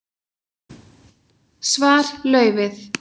Svar: Laufið.